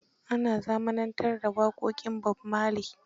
Ana zamanantar da waƙoƙin Bob Marlery